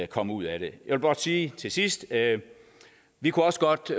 kom ud af det jeg vil blot sige til sidst at vi også godt